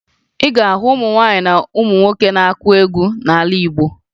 Ị ga-ahụ ụmụ nwaanyị na ụmụ nwoke na-akụ egwu n'ala Igbo